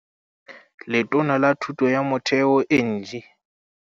Letona la Thuto ya Motheo Angie